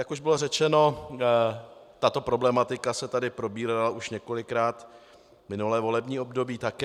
Jak už bylo řečeno, tato problematika se tady probírala už několikrát minulé volební období také.